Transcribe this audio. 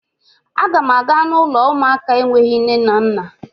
Agam aga n'ulo uụlọ ụmụaka enweghị nne na nna